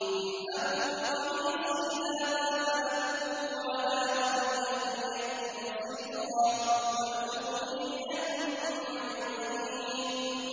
اذْهَبُوا بِقَمِيصِي هَٰذَا فَأَلْقُوهُ عَلَىٰ وَجْهِ أَبِي يَأْتِ بَصِيرًا وَأْتُونِي بِأَهْلِكُمْ أَجْمَعِينَ